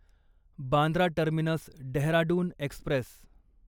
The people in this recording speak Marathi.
Bandra terminus Dehradun Express